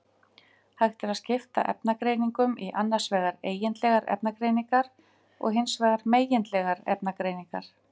Hægt er að skipta efnagreiningum í annars vegar eigindlegar efnagreiningar og hins vegar megindlegar efnagreiningar.